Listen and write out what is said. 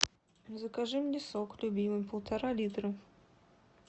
закажи мне сок любимый полтора литра